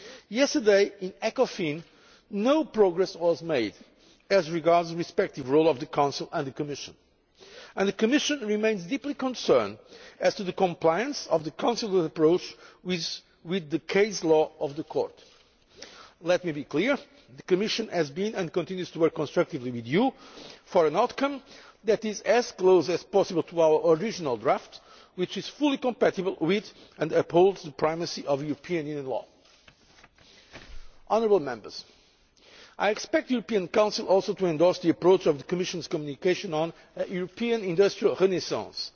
Yesterday in Ecofin, no progress was made as regards the respective roles of the Council and the Commission, and the Commission remains deeply concerned as to the compliance of the Council's approach with the case law of the court. Let me be clear the Commission has been working, and continues to work, constructively with you for an outcome that is as close as possible to our original draft, which is fully compatible with and upholds the primacy of European Union law. I also expect the European Council to endorse the approach of the Commission's communication on a European Industrial Renaissance